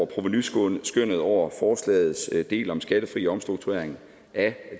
provenuskønnet over forslagets del om skattefri omstrukturering af